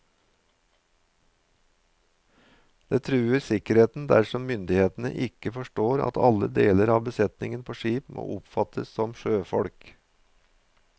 Det truer sikkerheten dersom myndighetene ikke forstår at alle deler av besetningen på skip må oppfattes som sjøfolk.